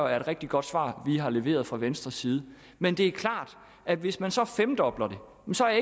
er et rigtig godt svar vi har leveret fra venstres side men det er klart at hvis man så femdobler det så er